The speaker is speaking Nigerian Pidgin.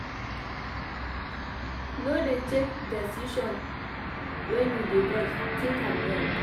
No dey take decision wen you dey vex tink am well.